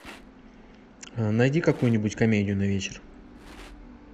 найди какую нибудь комедию на вечер